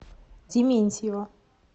дементьева